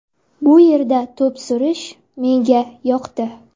Bu yerda to‘p surish menga yoqdi.